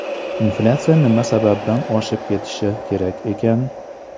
Inflyatsiya nima sababdan oshib ketishi kerak ekan?